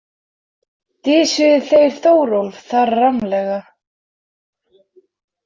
Dysjuðu þeir Þórólf þar rammlega.